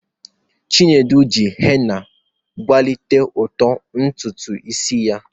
Chinedu ji hena kwalite uto ntutu isi ya.